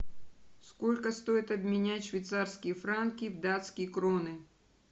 сколько стоит обменять швейцарские франки в датские кроны